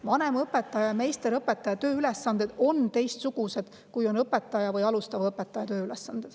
Vanemõpetaja ja meisterõpetaja tööülesanded on teistsugused, kui on õpetajal või alustaval õpetajal.